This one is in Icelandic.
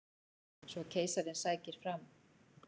Svo keisarinn sækir fram.